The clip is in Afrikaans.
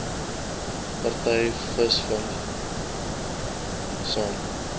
party visvangekspedisies saam